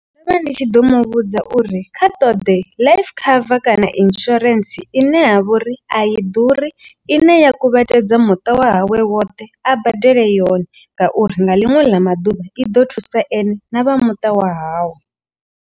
Ndo vha ndi tshi ḓo muvhudza uri kha ṱoḓe life cover kana insurance ine ya vhori a i ḓuri. I ne ya kuvhatedza muṱa wa hawe woṱhe a badele yone. Ngauri nga ḽiṅwe ḽa maḓuvha i ḓo thusa ene na vha muṱa wa hawe.